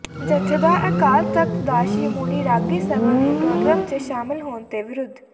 ਜਥੇਦਾਰ ਅਕਾਲ ਤਖ਼ਤ ਦਾ ਸ਼੍ਰੋਮਣੀ ਰਾਗੀ ਸਭਾ ਦੇ ਪ੍ਰੋਗਰਾਮ ਚ ਸ਼ਾਮਲ ਹੋਣ ਤੇ ਵਿਰੋਧ